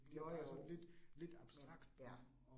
Nåh jo, men ja